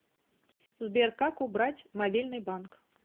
сбер как убрать мобильный банк